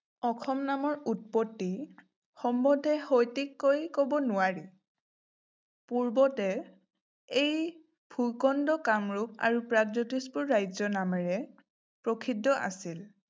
অসম নামৰ উৎপত্তি সম্বতে সঠিককৈ কব নোৱাৰি। পূৰ্বতে এই ভূ-খণ্ড কামৰূপ আৰু প্ৰাগজ্যোতিষপুৰ ৰাজ্য নামেৰে প্ৰসিদ্ধ আছিল।